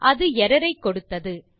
அது எர்ரர் ஐ கொடுத்தது